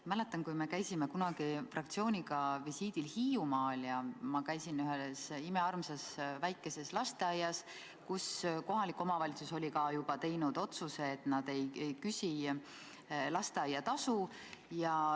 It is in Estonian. Ma mäletan, kui me käisime kunagi fraktsiooniga visiidil Hiiumaal ja ma käisin ühes imearmsas väikeses lasteaias, mille kohta kohalik omavalitsus oli juba teinud otsuse, et nad ei küsi lasteaiatasu.